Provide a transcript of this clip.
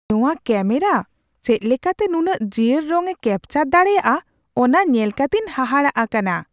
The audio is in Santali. ᱱᱚᱶᱟ ᱠᱮᱹᱢᱮᱨᱟ ᱪᱮᱫ ᱞᱮᱠᱟᱛᱮ ᱱᱩᱱᱟᱹᱜ ᱡᱤᱭᱟᱹᱲ ᱨᱚᱝᱼᱮ ᱠᱮᱹᱯᱪᱟᱨ ᱫᱟᱲᱮᱭᱟᱜᱼᱟ ᱚᱱᱟ ᱧᱮᱞ ᱠᱟᱛᱮᱧ ᱦᱟᱦᱟᱲᱟᱜ ᱟᱠᱟᱱᱟ ᱾